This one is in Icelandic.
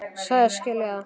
Sagðist skilja það.